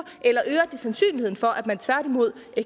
eller sandsynligheden for at man tværtimod